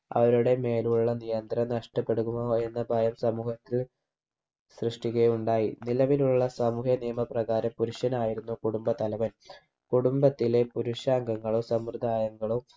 അവരുടെ മേലുള്ള നിയന്ത്രണം നഷ്ട്ടപ്പെടുമോ എന്ന ഭയം സമൂഹത്തിൽ സൃഷ്ട്ടിക്കുകയുണ്ടായി നിലവിലുള്ള സാമൂഹ്യ നിയമപ്രകാരം പുരുഷനായിരുന്നു കുടുംബ തലവൻ കുടുംബത്തിലെ പുരുഷ അംഗങ്ങളും സമ്പ്രദായങ്ങളും